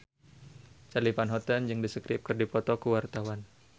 Charly Van Houten jeung The Script keur dipoto ku wartawan